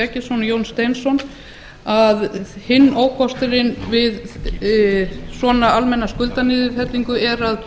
eggertsson og jón steinsson nefna einnig að hinn ókosturinn við svona almenna skuldaniðurfellingu er að